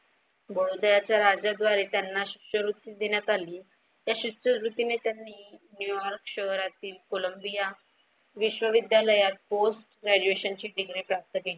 बडोद्याच्या राज्या द्वारे त्यांना शिष्यवृत्ती देण्यात आली. त्या शिष्यावृतीने त्यांनी न्यूयॉर्क शहरातील कोलंबिया विश्वविद्यालयात post graduation ची डीग्री प्राप्त केली.